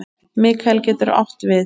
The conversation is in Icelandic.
Mikael getur átt við